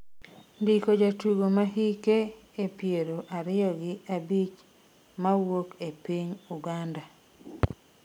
ndiko jadugogo ma hike e piero ariyo gi abich mawuok e piny Uganda